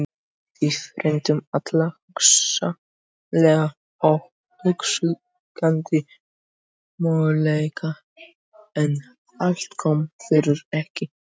Við ræddum alla hugsanlega og óhugsandi möguleika en allt kom fyrir ekki.